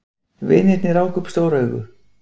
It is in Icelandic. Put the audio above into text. Vinirnir ráku upp stór augu.